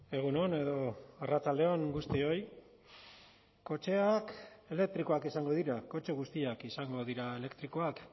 egun on edo arratsalde on guztioi kotxeak elektrikoak izango dira kotxe guztiak izango dira elektrikoak